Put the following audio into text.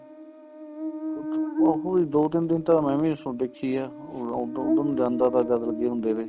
ਉਸ ਚ ਉਹੀ ਦੋ ਤਿੰਨ ਦਿਨ ਤਾਂ ਮੈਂ ਵੀ ਦੇਖੀ ਏ ਉੱਧਰ ਨੂੰ ਜਾਂਦਾ ਤਾਂ ਗੱਲ ਵਧੀਆ ਹੁਣ ਦੇਵੇ